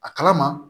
A kalama